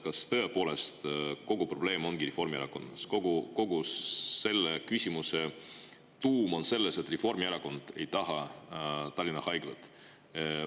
Kas tõepoolest kogu probleem ongi Reformierakonnas, kogu selle küsimuse tuum on selles, et Reformierakond ei taha Tallinna Haiglat?